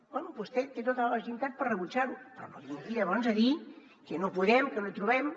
bé vostè té tota la legitimitat per rebutjar ho però no vingui llavors a dir que no podem que no trobem